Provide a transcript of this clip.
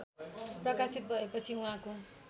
प्रकाशित भएपछि उहाँको